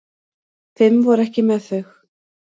Fimm voru ekki með þau.